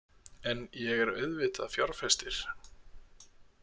En ég er auðvitað fjárfestir.